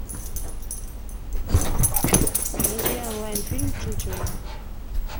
найди онлайн фильм чучело